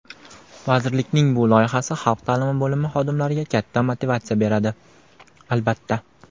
Vazirlikning bu loyihasi xalq taʼlimi bo‘limi xodimlariga katta motivatsiya beradi albatta.